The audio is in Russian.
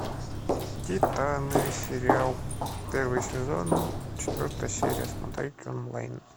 титаны сериал первый сезон четвертая серия смотреть онлайн